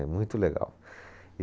É muito legal.